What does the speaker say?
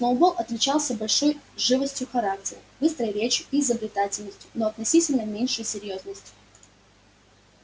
сноуболл отличался большей живостью характера быстрой речью и изобретательностью но относительно меньшей серьёзностью